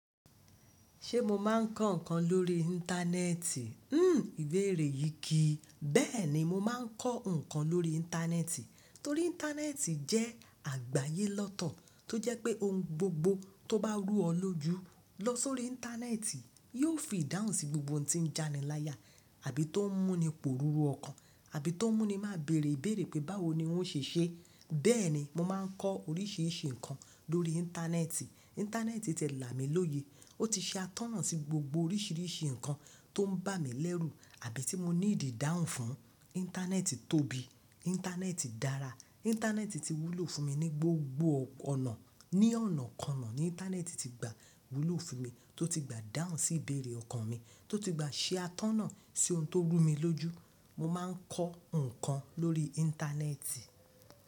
Ṣé mo máa ń kọ́ ǹkan lórí Íńtánẹ́ẹ̀tì? Hmm ìbéèrè yìí kì í, bẹ́ẹ̀ ni, mo máa ń kọ́ ǹkan lórí Íńtánẹ́ẹ̀tì torí Íńtánẹ́ẹ̀tì jẹ́ àgbáyé lọ́tọ̀ tó jẹ́ pé ohun gbogbo tó bá rú ọ lójú lọ sórí Íńtánẹ́ẹ̀tì yóò fi ìdáhùn sí gbogbo ohun tí ń já'ni láyà àbí tó ń mú ni pòrùrù ọkàn, àbí tó ń mú ni máa bèèrè bèèrè pé báwo ni ó ń ṣe ṣe. Bẹ́ẹ̀ ni, mo máa ń kọ́ oríṣiríṣi ǹkan lórí Íńtánẹ́ẹ̀tì. Íńtánẹ́ẹ̀tì ti là mí lóye, ó ti ṣe atọ́nà sí gbogbo oríṣiríṣi ǹkan tó ń bà mí lẹ́rù àbí tí mo need ìdáhùn fún. Íńtánẹ́ẹ̀tì tóbi, Íńtánẹ́ẹ̀tì dára, Íńtánẹ́ẹ̀tì ti wúlò fún mi ní gbogbo ọ̀nà. Ni ọ̀nàkọna ni Íńtánẹ́ẹ̀tì ti gba wúlò fún mi, tó ti gba dáhùn sí ìbeere ọkàn mi, tó ti gba ṣe atọ́nà sí ohun tó rú mi lójú. Mo máa ń kọ́ ǹkan lórí Íńtánẹ́ẹ̀tì.